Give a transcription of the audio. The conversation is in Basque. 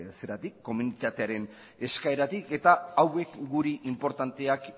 eskaeratik eta hauek gure inportanteak